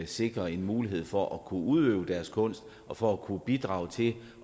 sikre en mulighed for at kunne udøve deres kunst og for at kunne bidrage til